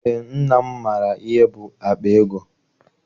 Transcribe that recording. Eé, nna m maara ihe bụ akpa ego.